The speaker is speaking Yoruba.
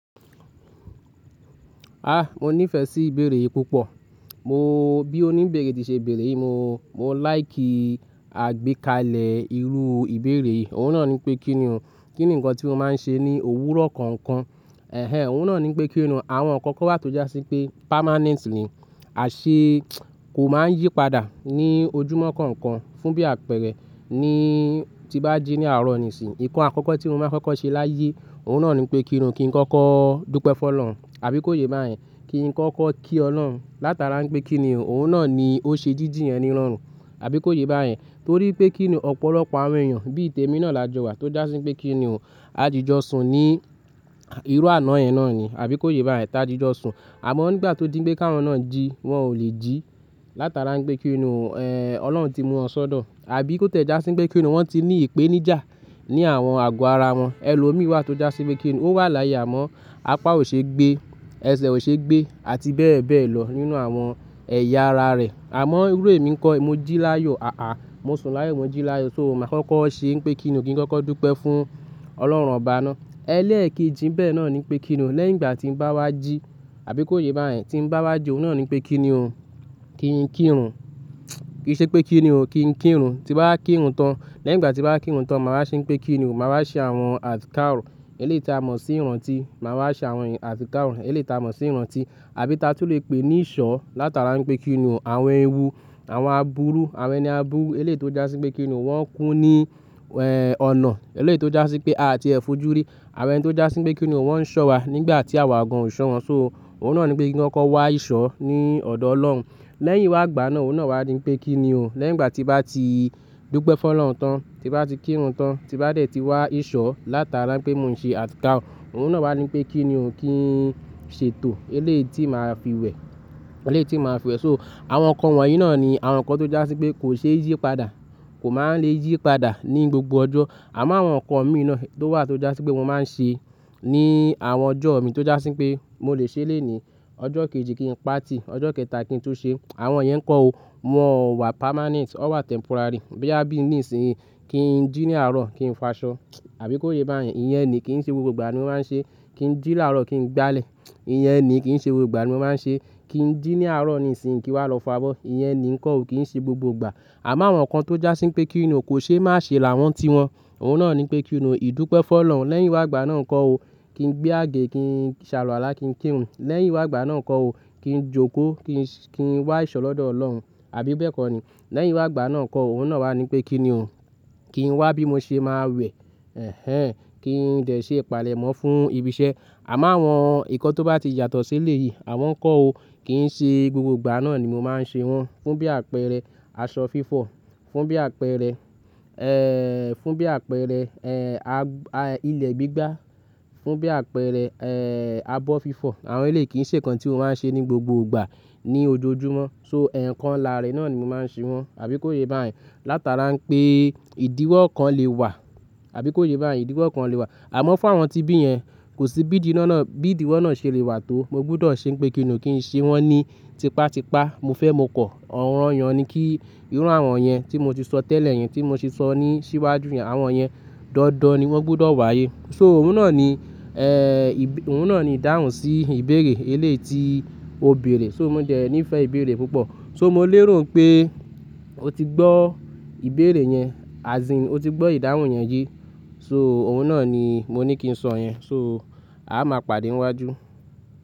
Ah, mo nífẹ̀ẹ́ sí ìbéèrè yìí púpọ̀. Mo bí oní ìbéèrè tí ṣe ìbéèrè yìí, mo, mo láì kí àgbékalẹ̀ irú ìbéèrè yìí. Òun náà ní pé kíni òun, kí ni ǹkan tí mo máa ń ṣe ní òwúrọ̀ kọ̀ọ̀kan? Ẹ̀hẹn, òun náà ní pé kíni òun àwọn ǹkan kan wà tó jásí pé permanent ni, àṣé kò máa ń yí padà ní ojúmọ́ kọ̀ọ̀kan fún bí àpẹ̀rẹ̀ ni tí bá jí ní àárọ̀ nísìnyí. Ìkọ́ ǹkan kan tí mo máa kọ́kọ́ ṣe láyé, òun náà ní pé kíni òun kí n kọ́kọ́ dúpẹ́ fún Ọlọ́run àbí kó yé bá yẹn, kí n kọ́kọ́ kí Ọlọ́run látara pé kíni òun, òun náà ni ó ṣe jíjí yẹ́n ni ìrọrùn àbí kó yé bá yẹn. Torí pé kíni ọ̀pọ̀lọpọ̀ àwọn èèyàn bí i tèmi náà làjọ wà tó jásí pé kíni òun, àjíjọsùn ni irú àná yẹn náà ni àbí kó yé bá yẹn tájájọsùn. Àmọ́ nígbà tó díń gbé káwọn náà jí, wọ́n ò lè jí látara pé kíni òun, ẹ́ Ọlọ́run ti mú wọn sọ́dọ̀ àbí kó tẹ́ ẹ jásí pé kíni òun wọ́n ti ní ìpénijà ní àwọn àgọ́ ara wọn. Ẹ̀lomiì wà tó jásí pé kíni òun ó wà láyé àmọ́ apá ò ṣe gbé, ẹsẹ̀ ò ṣe gbé àti bẹ́ẹ̀ bẹ́ẹ̀ lọ nínú àwọn ẹ̀yà ara rẹ̀. Àmọ́ irú èmi ń kọ́, mo jí láàyò, àà, mo sùn láàyò, mo jí láàyò so mo máa kọ́kọ́ ṣe ń pe kíni òun kí n kọ́kọ́ dúpẹ́ fún Ọlọ́run ọba náà. Ẹ lẹ́ẹ̀kìjí bẹ́ẹ̀ náà ní pé kíni òun lẹ́yìn ìgbà tí ń bá wá jí àbí kó yé bá yẹn tí ń bá wá jí, òun náà ní pé kíni òun kí n kírun. Kì í ṣe pé kíni òun kí n kírun, tí bá kírun tán lẹ́yìn ìgbà tí bá kírun tán, màá ṣe ń pe kíni òun, màá ṣe àwọn àtìkà òrun eléyìí ti a mọ̀ sí ìrántí, màá ṣe àwọn àtìkà òrun eléyìí ti a mọ̀ sí ìrántí. Àbí tatù lè pè ní ìṣọ́ látara pé kíni òun àwọn ewu, àwọn aburu, àwọn ẹni aburu eléyìí ti ó jásí pé kíni òun wọ́n ń kú ní ẹ́ ọ̀nà eléyìí ti ó jásí pé a ti ẹ̀ fójúrí. Àwọn ẹni tó jásí pé kíni òun wọ́n ń ṣọ́wa nígbà tí àwa gan ò ṣọ́ wọn, so òun náà ní pé kí n kọ́kọ́ wá ìṣọ́ ní ọ̀dọ̀ Ọlọ́run. Lẹ́yìn wá gbà á náà òun náà wá ní pé kíni ò lẹ́yìn ìgbà tí bá ti dúpẹ́ fún Ọlọ́run tán, tí bá ti kírun tán, tí bá dẹ̀ ti wá ìṣọ́ látara pé mò ń ṣe àtìkà òrun, òun náà wá ní pé kíni òun kí n ṣètò eléyìí ti màá fi wẹ̀, eléyìí ti màá fi wẹ̀. So àwọn ǹkan wọ̀nyí náà ni àwọn ǹkan tó jásí pé kò ṣe yí padà, kò máa ń le yí padà ní gbogbo ọjọ́. Àmọ́ àwọn ǹkan mi iná tó wà tó jásí pé mo máa ń ṣe ní àwọn ọjọ́ mi tó jásí pé mo lè ṣe lónìí, ọjọ́ kejì kí n pa tì, ọjọ́ kẹta kí n tún ṣe. Àwọn yẹn ń kọ́ o, wọ́n ò wà permanent wọ́n wà temporary. Bóyà bí ní ìsìn yìí kí n jí ní àárọ̀ kí n fàṣọ àbí kó yé bá yẹn. Iyẹn ni kí n ṣe gbogbo ìgbà ni mo máa ń ṣe, kí n jí ní àárọ̀ kí n gbálẹ̀. Iyẹn ni kí n ṣe gbogbo ìgbà ni mo máa ń ṣe, kí n jí ní àárọ̀ ni ìsìn kí n wá lọ fà á bọ́. Iyẹn ni ń kọ́ o kí n ṣe gbogbo ìgbà. Àmọ́ àwọn ǹkan tó jásí pé kíni òun kò ṣe má ṣe làwọn ti wọn. Òun náà ní pé kíni òun ìdúpẹ́ fún Ọlọ́run lẹ́yìn wá gbà á náà ń kọ́ o, kí n gbé àgé, kí n saluwàlá, kí n kírun. Lẹ́yìn wá gbà á náà ń kọ́ o, kí n jókòó, kí n, kí n wá ìṣọ́ lọ́dọ̀ Ọlọ́run àbí bẹ́ẹ̀ kọ́ ni. Lẹ́yìn wá gbà á náà ń kọ́ o, òun náà wá ní pé kíni òun kí n wá bí mo ṣe máa wẹ̀, ẹ́hẹn, kí n dẹ̀ ṣe ìpàlẹ̀mọ́ fún ibi iṣẹ́. Àmọ́ àwọn ǹkan tó bá ti yàtọ̀ sí eléyìí, àwọn ń kọ́ o kí n ṣe gbogbo ìgbà náà ni mo máa ń ṣe wọ́n. Fún bí àpẹrẹ aṣọ fífọ̀, fún bí àpẹrẹ ẹ́, fún bí àpẹrẹ ẹ́ a, ilẹ̀ gbígbá, fún bí àpẹrẹ ẹ́ àbọ̀ fífọ̀. Àwọn eléyìí kí n ṣe ǹkan tí mo máa ń ṣe ní gbogbo ìgbà ní ojoojúmọ́. So ẹ̀yàn kan làárẹ̀ náà ni mo máa ń ṣe wọ́n àbí kó yé bá yẹn. Látara pé ìdíwọ́ kan lè wà àbí kó yé bá yẹn ìdíwọ́ kan lè wà. Àmọ́ fún àwọn tí bí yẹn kò sí bí ìdí náà náà, bí ìdíwọ́ náà ṣe lè wà tó, mo gbúdọ̀ ṣe ń pe kíni òun kí n ṣe wọ́n ní tipátipá. Mo fẹ́ mo kọ ọ̀ranọyàn ni kí irú àwọn yẹn tí mo ti sọ tẹ́lẹ̀ yẹn, tí mo ti sọ ní síwájú yẹn, àwọn yẹn dọ́ọ́dọ́ ni wọ́n gbúdọ̀ wáyé. So òun náà ni ẹ́, òun náà ni ìdáhùn sí ìbéèrè eléèti o béèrè. So mo jẹ ní ìfẹ́ ìbéèrè púpọ̀. So mo lérò pé o ti gbọ́ ìbéèrè yẹn, as in o ti gbọ́ ìdáhùn yẹn yé. So òun náà ni mo ní kí n sọ yẹn. So a máa pàdé níwájú.